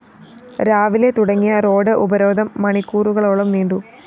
രാവിലെ തുടങ്ങിയ റോഡ്‌ ഉപരോധം മണിക്കൂറുകളോളം നീണ്ടു